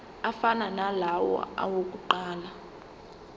afana nalawo awokuqala